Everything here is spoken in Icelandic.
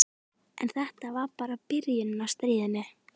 En þetta var bara byrjunin á stríðinu.